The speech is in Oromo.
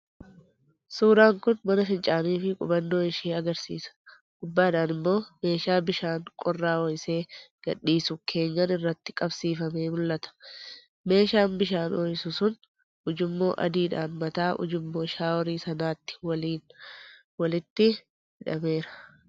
1.Suuraan kun mana fincaanii fi qubannoo ishee agarsiisa; gubbaadhaan immoo meeshaa bishaan qorraa ho'isee gadhiisu keenyan irratti qabsiifamee mul'ata. 2.Meeshaan bishaan ho'isu sun ujummoo adiidhaan mataa ujummoo shaaworii sanaatti waliin walitti hidhameera.